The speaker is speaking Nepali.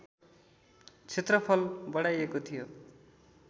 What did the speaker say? क्षेत्रफल बढाइएको थियो